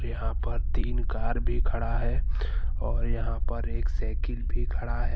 यहाँ पर तीन कार भी खड़ा है और यहाँ पर एक साइकिल भी खड़ा है।